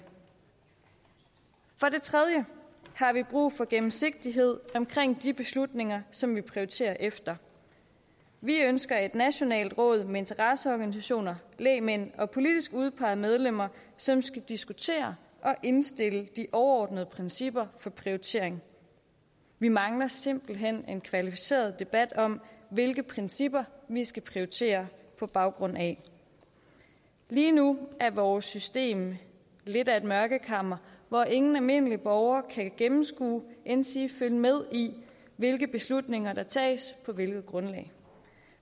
for det tredje har vi brug for gennemsigtighed i de beslutninger som vi prioriterer efter vi ønsker et nationalt råd med interesseorganisationer lægmænd og politisk udpegede medlemmer som skal diskutere og indstille de overordnede principper for prioritering vi mangler simpelt hen en kvalificeret debat om hvilke principper vi skal prioritere på baggrund af lige nu er vores system lidt af et mørkekammer hvor ingen almindelig borger kan gennemskue endsige følge med i hvilke beslutninger der tages på hvilket grundlag